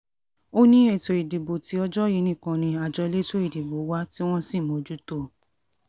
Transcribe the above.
ó ní ètò ìdìbò tí ọjọ́ yìí nìkan ni àjọ elétò ìdìbò wà tí wọ́n sì mójútó o